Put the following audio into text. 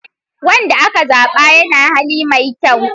Wanda aka zaba yana da hali mai kyau.